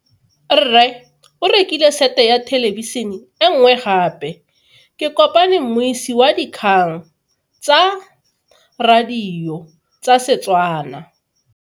Rre o rekile sete ya thelebišene e nngwe gape. Ke kopane mmuisi w dikgang tsa radio tsa Setswana.